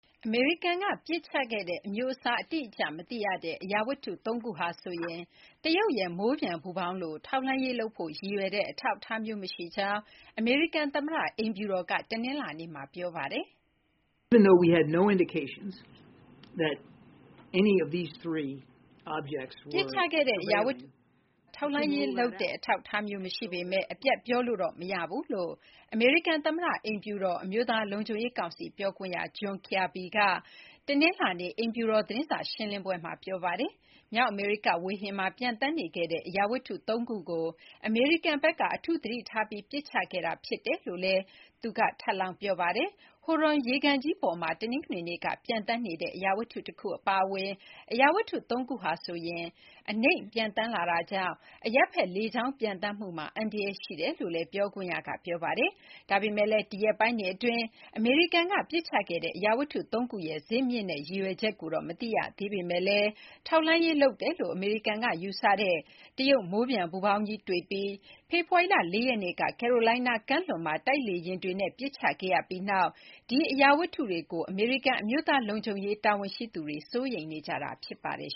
အမေရိကန်ကပစ်ချခဲ့တဲ့ အမျိုးအစားအတိအကျမသိရတဲ့ အရာဝတ္ထု ၃ ခုဟာ တရုတ်ရဲ့ မိုးပျံပူဖေါင်းလို ထောက်လှမ်းရေးလုပ်ဖို့ရည်ရွယ်တဲ့ အထောက်အထားမျိုးမရှိကြောင်း အမေရိကန်သမ္မတအိမ်ဖြူတော်က တနင်္လနေ့မှာ ပြောပါတယ်။ ပစ်ချခဲ့တဲ့အရာဝတ္ထု ၃ ခုဟာ ထောက်လှမ်းရေးလုပ်တဲ့အထောက်အထားမျိုးမရှိပေမဲ့ အပြတ်ပြောလို့တော့မရဘူးလို့ အမေရိကန်သမ္မတအိမ်ဖြူတော် အမျိုးသားလုံခြုံရေးကောင်စီပြောခွင့်ရ John Kirby က တနင်္လာနေ့ အိမ်ဖြူတော်သတင်းစာရှင်းလင်းပွဲမှာ ပြောပါတယ်။ မြောက်အမေရိကဝေဟင်မှာ ပျံသန်းနေခဲ့တဲ့အရာဝတ္ထု ၃ ခုကို အမေရိကန်ဘက်က အထူးသတိထားပြီး ပစ်ချခဲ့တာဖြစ်တယ်လို့လည်း အိမ်ဖြူတော် အမျိုးသား လုံခြုံရေးကောင်စီ ပြောခွင့်ရက ထပ်လောင်းပြောပါတယ်။ Huron ရေကန်ကြီး ပေါ်မှာ တနင်္ဂနွေနေ့က ပျံသန်းနေတဲ့ အရာဝတ္ထု တခုအပါအဝင် အရာဝတ္ထု ၃ ခုဟာ အနိမ့်ပျံသန်းလာတာကြောင့် အရပ်ဘက်လေကြောင်းပျံသန်းမှုမှာ အန္တရာယ်ရှိတယ်လို့လည်း ပြောခွင့်ရက ပြောပါတယ်။ ဒါပေမဲ့လည်း ဒီရက်ပိုင်းတွေအတွင်း အမေရိကန်ကပစ်ချခဲ့တဲ့ အရာဝတ္ထု ၃ ခုရဲ့ ဇစ်မြစ်နဲ့ရည်ရွယ်ချက်ကိုတော့မသိရပေမဲ့လည်း ထောက်လှမ်းရေးလုပ်တယ်လို့ အမေရိကန်ကယူဆတဲ့ တရုတ်မိုးပျံပူဖေါင်းကြီးတွေ့ပြီး ဖေဖော်ဝါရီလ ၄ ရက်နေ့က ကယ်ရိုလိုင်းနားကမ်းလွန်မှာ တိုက်လေယာဉ်တွေနဲ့ ပစ်ချခဲ့ရပြီးနောက်မှာ ဒီအရာဝတ္ထုတွေကို အမေရိကန် အမျိုးသားလုံခြုံရေးတာဝန်ရှိသူတွေ စိုးရိမ်နေကြတာဖြစ်ပါတယ်